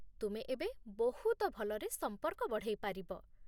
ତୁମେ ଏବେ ବହୁତ ଭଲରେ ସମ୍ପର୍କ ବଢ଼େଇପାରିବ